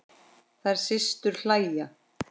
Þær systur hlæja.